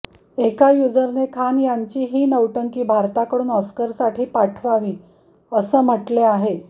एका युझरने खान यांची ही नौटंकी भारताकडून ऑस्करसाठी पाठवावी असे म्हटले आहे